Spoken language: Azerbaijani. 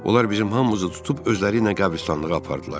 Onlar bizim hamımızı tutub özləri ilə qəbristanlığa apardılar.